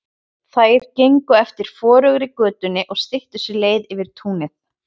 Þær gengu eftir forugri götunni og styttu sér leið yfir túnið.